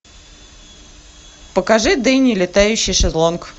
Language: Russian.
покажи дени летающий шезлонг